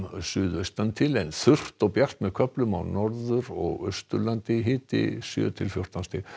suðaustan til en þurrt og bjart með köflum á Norður og Austurlandi hiti sjö til fjórtán stig